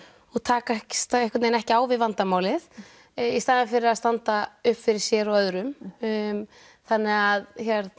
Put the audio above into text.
og takast einhvern veginn ekki á við vandamálið í staðinn fyrir að standa upp fyrir sér og öðrum þannig að